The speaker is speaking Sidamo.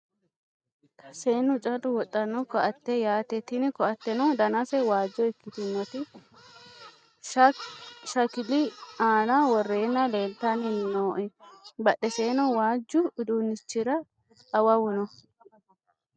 Seennu callu wodhanno koatette yaatte tini koatenno danase waajjo ikitinoti shakkili aana worenna leelitani nooe badhesenino waajju uddunichira awawu noo.